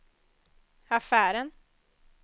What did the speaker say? affären